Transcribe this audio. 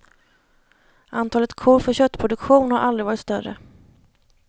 Antalet kor för köttproduktion har aldrig varit större.